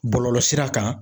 Bɔlɔlɔsira kan